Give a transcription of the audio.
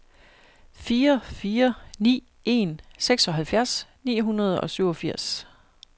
fire fire ni en seksoghalvfjerds ni hundrede og syvogfirs